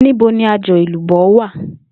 Níbo ni aj̀ò̩ èlùbó̩ wà?